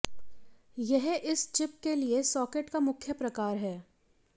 यह इस चिप के लिए सॉकेट का मुख्य प्रकार है